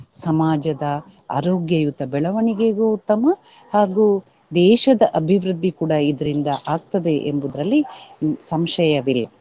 ಸಮಾಜದ ಆರೋಗ್ಯಯುತ ಬೆಳವಣಿಗೆಗೂ ಉತ್ತಮ ಹಾಗೂ ದೇಶದ ಅಭಿವೃದ್ಧಿ ಕೂಡ ಇದ್ರಿಂದ ಆಗ್ತದೆ ಎಂಬುವುದ್ರಲ್ಲಿ ಇನ್~ ಸಂಶಯವಿಲ್ಲ.